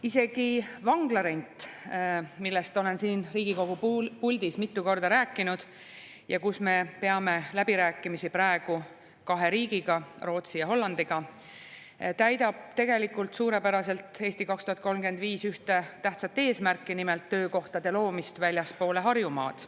Isegi vanglarent, millest ma olen siin Riigikogu puldis mitu korda rääkinud ja mille üle me peame läbirääkimisi praegu kahe riigiga, Rootsi ja Hollandiga, täidab tegelikult suurepäraselt "Eesti 2035" ühte tähtsat eesmärki, nimelt, töökohtade loomist väljapoole Harjumaad.